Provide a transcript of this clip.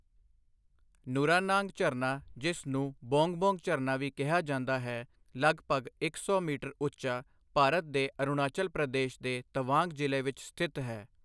ਨੁਰਾਨਾਂਗ ਝਰਨਾ, ਜਿਸ ਨੂੰ ਬੋਂਗ ਬੋਂਗ ਝਰਨਾ ਵੀ ਕਿਹਾ ਜਾਂਦਾ ਹੈ, ਲਗਭਗ ਇੱਕ ਸੌ ਮੀਟਰ ਉੱਚਾ, ਭਾਰਤ ਦੇ ਅਰੁਣਾਚਲ ਪ੍ਰਦੇਸ਼ ਦੇ ਤਵਾਂਗ ਜ਼ਿਲ੍ਹੇ ਵਿੱਚ ਸਥਿਤ ਹੈ।